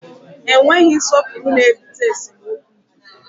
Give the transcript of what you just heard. Enweghị nsọpụrụ na-ebute esemokwu